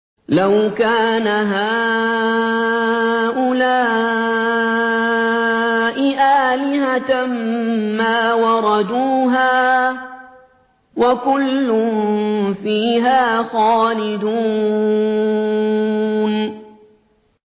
لَوْ كَانَ هَٰؤُلَاءِ آلِهَةً مَّا وَرَدُوهَا ۖ وَكُلٌّ فِيهَا خَالِدُونَ